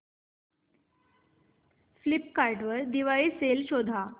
Flipkart वर Diwali sale शोधा